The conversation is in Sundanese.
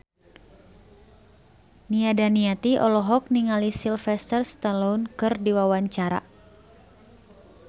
Nia Daniati olohok ningali Sylvester Stallone keur diwawancara